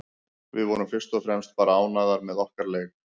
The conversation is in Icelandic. Við vorum fyrst og fremst bara ánægðar með okkar leik.